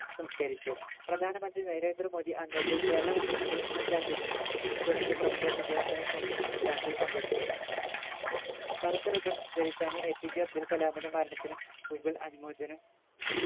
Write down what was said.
സംസ്കരിച്ചു പ്രധാനമന്ത്രി നരേന്ദ്ര മോദി അന്നത്തെ കേരള മുഖ്യമന്ത്രി ഉമ്മൻ ചാണ്ടി തുടങ്ങിയ പ്രമുഖർ ഇദ്ദേഹത്തിന്റെ ശവ സംസ്കാരത്തിൽ പങ്കെടുത്തു കറുത്ത ribbon ധരിച്ചാണ് APJ അബ്ദുൾകലാമിന്റെ മരണത്തിന് ഗൂഗിൾ അനുമോചനം